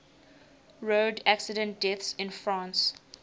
road accident deaths in france